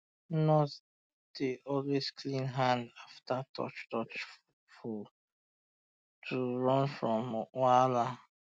nurses dey always clean hand um after touch touch to run from um wahala